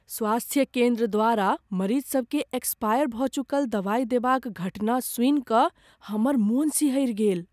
स्वास्थय केन्द्र द्वारा मरीजसभकेँ एक्सपायर भऽ चुकल दवाइ देबाक घटना सुनि कऽ हमर मन सिहरि गेल।